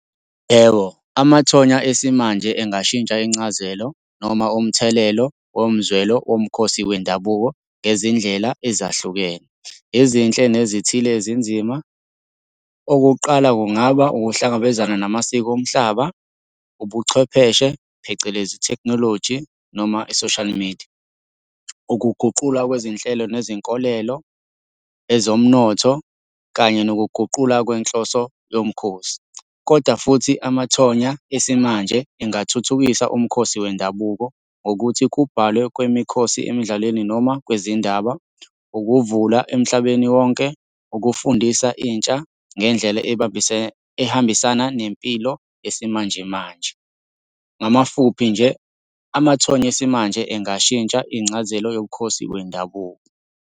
Yebo, amathonya esimanje engashintsha incazelo noma umthelelo womzwelo womkhosi wendabuko ngezindlela ezahlukene, ezinhle nezithile ezinzima. Okokuqala kungaba ukuhlangabezana namasiko omhlaba, ubuchwepheshe phecelezi ithekhinoloji noma i-social media. Ukuguqulwa kwezinhlelo nezinkolelo, ezomnotho, kanye nokuguqula kwenhloso yomkhosi, kodwa futhi amathonya esimanje engathuthukisa umkhosi wendabuko, ngokuthi kubhalwe kwemikhosi emidlalweni noma kwezindaba. Ukuvula emhlabeni wonke, ukufundisa intsha ngendlela ehambisana nempilo yesimanje manje. Ngamafuphi nje, amathonya esimanje engashintsha ingcazelo yobukhosi wendabuko.